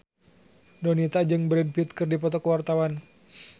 Donita jeung Brad Pitt keur dipoto ku wartawan